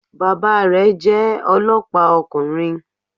Bàbá rẹ̀ jẹ́ olọ́pàá ọkùnrin